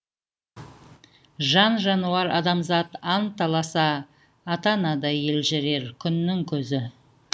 жан жануар адамзат анталаса ата анадай елжірер күннің көзі